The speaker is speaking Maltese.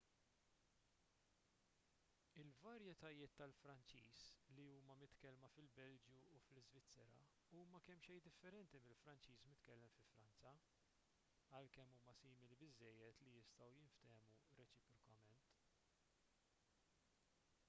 il-varjetajiet tal-franċiż li huma mitkellma fil-belġju u l-iżvizzera huma kemmxejn differenti mill-franċiż mitkellem fi franza għalkemm huma simili biżżejjed li jistgħu jinftehmu reċiprokament